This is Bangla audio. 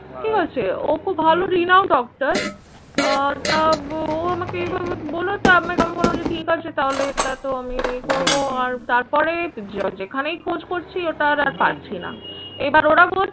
ঠিক আছে? ও খুব ভালো renowned doctor আহ তা ও আমাকে এভাবে বলল, তো আমি বললাম যে ঠিক আছে তাহলে এটা তো আমি ইয়ে করবো আর তারপরে যে যেখানেই খোঁজ করছি ওটা আর পাচ্ছি না। এবার ওরা বলছে